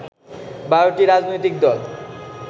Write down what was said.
১২টি রাজনৈতিক দল